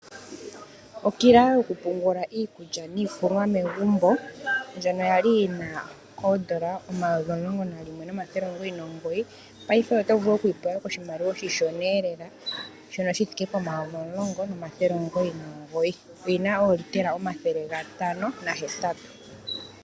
Okila yoku pungula iikulya niikunwa megumbo ndjono kwali yina oondola omayovi omulongo nalimwe nomathele omilongo nomugoyi, paife oto vulu okuyi pewa koshimaliwa oshishona lela shono shi thike pomayovi omulongo nomathele omulongo omugoyi nomugoyi. Oyina oolitela omathele gatano nahetatu.